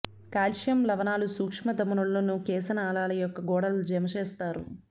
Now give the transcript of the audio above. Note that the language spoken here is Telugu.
కాల్షియం లవణాలు సూక్ష్మ ధమనులను కేశనాళికల యొక్క గోడలు జమ చేస్తారు